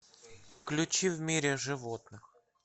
включи в мире животных